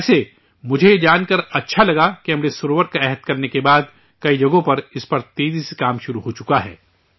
ویسے مجھے یہ جان کر اچھا لگا کہ امرت سروور کا عہد لینے کے بعد کئی جگہوں پر اس پر تیزی سے کام شروع ہو چکا ہے